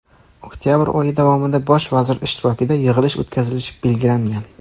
Oktabr oyi davomida Bosh vazir ishtirokida yig‘ilish o‘tkazilishi belgilangan.